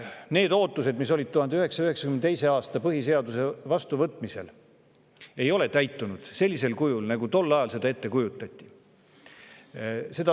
Need ootused, mis 1992. aastal põhiseaduse vastuvõtmisel olid, ei ole täitunud sellisel kujul, nagu tol ajal ette kujutati.